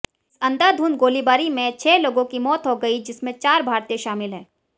इस अंधाधुंध गोलीबारी में छह लोगों की मौत हो गई जिसमें चार भारतीय शामिल हैं